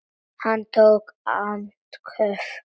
Hann tók andköf.